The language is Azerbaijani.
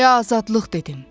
çaya azadlıq dedim.